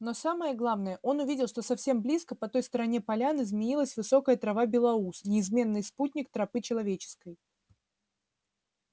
но самое главное он увидел что совсем близко по той стороне поляны змеилась высокая трава белоус неизменный спутник тропы человеческой